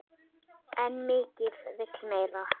En mikið vill meira.